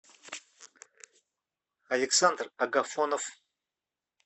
александр агафонов